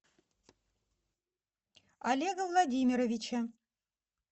олега владимировича